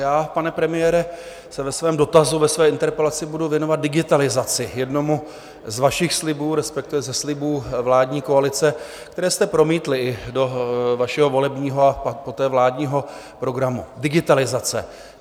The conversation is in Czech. Já, pane premiére, se ve svém dotazu, ve své interpelaci budu věnovat digitalizaci, jednomu z vašich slibů, respektive ze slibů vládní koalice, které jste promítli i do vašeho volebního a poté vládního programu: digitalizace.